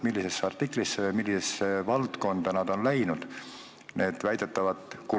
Millisesse artiklisse, millisesse valdkonda on läinud see raha?